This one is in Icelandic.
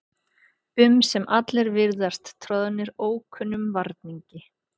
um sem allir virðast troðnir ókunnum varningi.